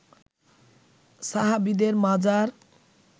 সাহাবিদের মাজার